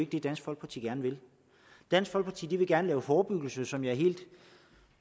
det dansk folkeparti gerne vil dansk folkeparti vil gerne lave forebyggelse som jeg er helt